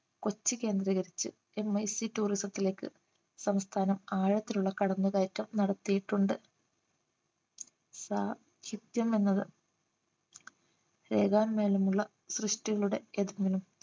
കൊച്ചി കേന്ദ്രീകരിച്ച് MICtourism ത്തിലേക്ക് സംസ്ഥാനം ആഴത്തിലുള്ള കടന്നു കയറ്റം നടത്തിയിട്ടുണ്ട് സാ ഹിത്യം എന്നത് രേഖൻമൂലമുള്ള സൃഷ്ടികളുടെ ഏതെങ്കിലും